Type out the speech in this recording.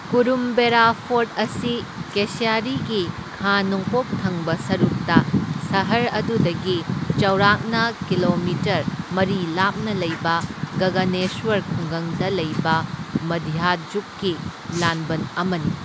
Kurumbera fort ꯑꯁꯤ ꯀꯦꯁ꯭ꯌꯔꯤꯒꯤ ꯈꯥ ꯅꯣꯡꯄꯣꯛ ꯊꯪꯕ ꯁꯔꯨꯛꯇ ꯁꯍꯔ ꯑꯗꯨꯗꯒꯤ ꯆꯥꯎꯔꯥꯛꯅ ꯀꯤꯂꯣꯃꯤꯇꯔ ꯃꯔꯤ ꯂꯥꯞꯅ ꯂꯩꯕ ꯒꯒꯅꯦꯁꯋꯔ ꯈꯨꯡꯒꯪꯗ ꯂꯩꯕ ꯃꯙ꯭ꯌꯖꯨꯛꯀꯤ ꯂꯥꯟꯕꯟ ꯑꯃꯅꯤ꯫